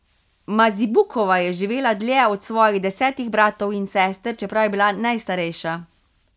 Mazibukova je živela dlje od svojih desetih bratov in sester, čeprav je bila najstarejša.